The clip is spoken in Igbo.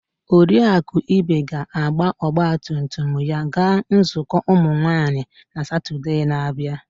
Oriakụ Ibe ga-agba ọgba tum tum ya gaa nzukọ ụmụ nwanyị na Sọnde na-abịa.